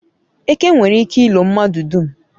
eke nwere ike ilo mmadu dum